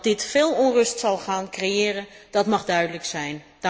Want dat dit veel onrust zal gaan creëren, dat mag duidelijk zijn.